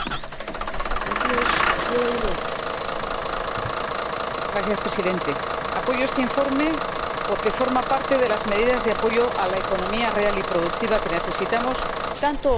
Señor Presidente, apoyo este informe porque forma parte de las medidas de apoyo a la economía real y productiva que necesitamos tanto o más que la austeridad.